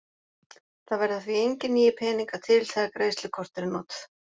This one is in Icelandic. Það verða því engir nýir peningar til þegar greiðslukort eru notuð.